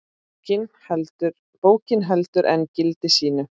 Bókin heldur enn gildi sínu.